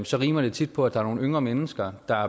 så rimer det tit på at der er nogle yngre mennesker der